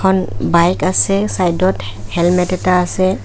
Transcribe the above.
এখন বাইক আছে চাইডত হেলমেত এটা আছে।